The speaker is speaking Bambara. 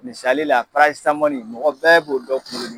Misali la prayesamɔni mɔgɔ bɛɛ b'o dɔ kuŋolo di